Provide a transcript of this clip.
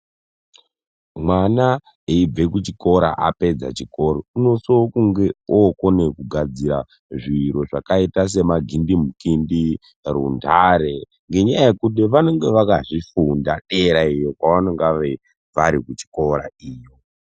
Mwana aibve kuchikora apedza chikoro, unoso kunge okonekugadzira zviro zvakaita semagindimukindi, runtare ngenyaya yekuti vanenge vakazvifunda deraiyo kwaanonga vari kuchikora iyo.